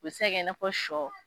O be se ka kɛ i n'a fɔ sɔ